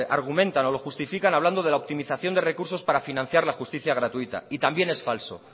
argumentan o lo justifican hablando de la optimización de recursos para financiar la justicia gratuita y también es falso